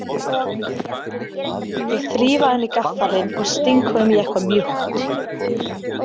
Ég þríf af henni gaffalinn og sting honum í eitthvað mjúkt.